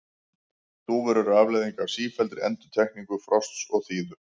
Þúfur eru afleiðing af sífelldri endurtekningu frosts og þíðu.